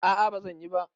A'a bazan yi ba.